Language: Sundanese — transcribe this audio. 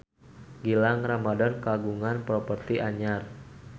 Gilang Ramadan kagungan properti anyar